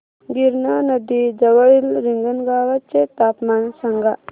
गिरणा नदी जवळील रिंगणगावाचे तापमान सांगा